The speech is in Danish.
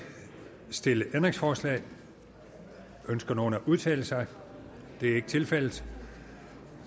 stillet ændringsforslag ønsker nogen at udtale sig det er ikke tilfældet